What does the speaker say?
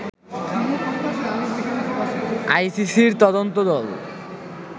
আইসিসির তদন্ত দল